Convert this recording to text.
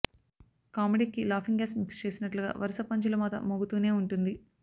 కామెడీకి laughing gas mix చేసినట్లుగా వరుస పంచుల మోత మోగుతూనే ఉంటుంది